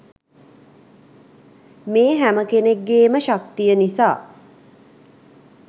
මේ හැම කෙනෙක්ගේම ශක්තිය නිසා.